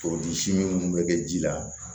minnu bɛ kɛ ji la